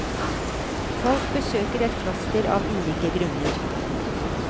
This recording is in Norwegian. Folk besøker et kloster av ulike grunner.